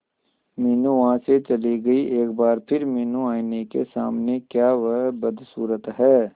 मीनू वहां से चली गई एक बार फिर मीनू आईने के सामने क्या वह बदसूरत है